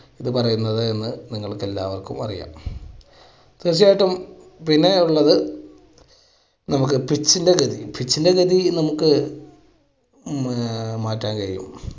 ഇത് പറയുന്നത് എന്ന് നിങ്ങൾക്ക് എല്ലാവർക്കും അറിയാം. തീർച്ചയായിട്ടും പിന്നെ ഉള്ളത് നമുക്ക് pitch ന്റെ ഗതി pitch ന്റെ ഗതി നമുക്ക് മാ~മാറ്റാൻ കഴിയും.